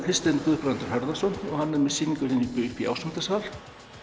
Kristinn Guðbrandur Harðarson hann er með sýningu uppi í Ásmundarsal